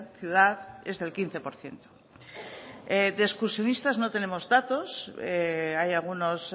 ciudad es del quince por ciento de excursionistas no tenemos datos hay algunos